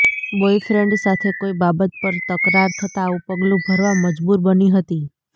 boyfriend સાથે કોઈ બાબત પર તકરાર થતા આવું પગલું ભરવા મજબુર બની હતી